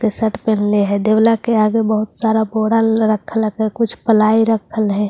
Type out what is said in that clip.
के शर्ट पहन ले है देवला के आगे बहुत सारा बोर्डल रख है कुछ पलाई रख है।